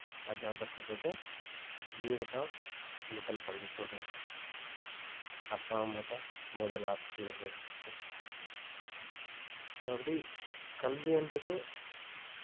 அதனாலதான் சொல்றது வீடுதான் முதல் பள்ளிக்கூடம் அப்பா அம்மாதான் முதல் ஆசிரியர்கள் so அப்படியே கல்வின்றது